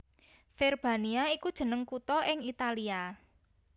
Verbania iku jeneng kutha ing Italia